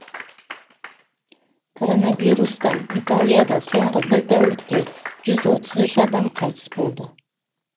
коронавирустан италияда соңғы бір тәулікте жүз отыз үш адам қайтыс болды